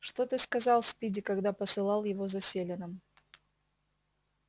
что ты сказал спиди когда посылал его за селеном